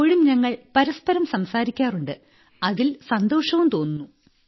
ഇപ്പോഴും ഞങ്ങൾ പരസ്പരം സംസാരിക്കാറുണ്ട് അതിൽ സന്തോഷവും തോന്നുന്നു